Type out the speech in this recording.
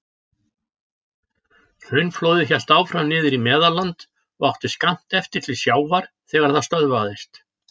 Hraunflóðið hélt áfram niður í Meðalland og átti skammt eftir til sjávar þegar það stöðvaðist.